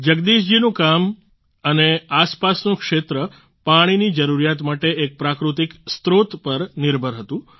જગદીશ જીનું ગામ અને આસપાસનું ક્ષેત્ર પાણીની જરૂરિયાત માટે એક પ્રાકૃતિક સ્ત્રોત પર નિર્ભર હતું